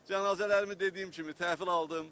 Cənazələrimi dediyim kimi təhvil aldım.